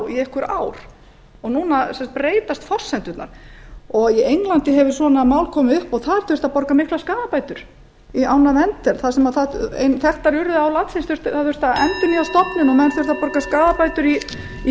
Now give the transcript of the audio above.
í einhver ár og núna breytast forsendurnar í englandi hefur svona mál komið upp og þar þurfti að borga miklar skaðabætur vegna árinnar wendel einnar af þekktari urriðaám landsins það þurfti að endurnýja stofninn og menn þurftu að borga skaðabætur í verndarsjóð sem stangaveiðimenn héldu